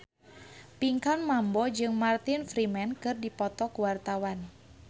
Pinkan Mambo jeung Martin Freeman keur dipoto ku wartawan